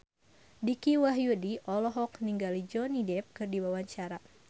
Dicky Wahyudi olohok ningali Johnny Depp keur diwawancara